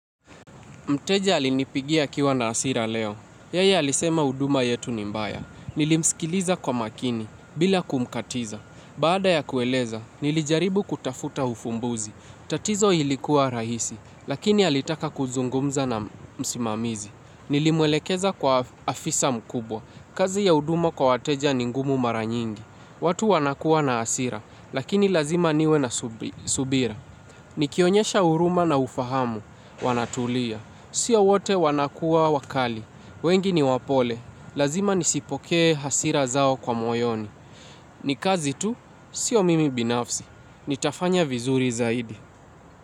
Mteja alinipigia akiwa na hasira leo. Yeye alisema huduma yetu ni mbaya. Nilimsikiliza kwa makini, bila kumkatiza. Baada ya kueleza, nilijaribu kutafuta ufumbuzi. Tatizo ilikuwa rahisi, lakini alitaka kuzungumza na msimamizi. Nilimwelekeza kwa afisa mkubwa. Kazi ya huduma kwa wateja ni ngumu mara nyingi. Watu wanakuwa na hasira, lakini lazima niwe na subira. Nikionyesha uruma na ufahamu, wanatulia. Sio wote wanakuwa wakali. Wengi ni wapole. Lazima nisipoke hasira zao kwa moyoni. Ni kazi tu, sio mimi binafsi. Nitafanya vizuri zaidi.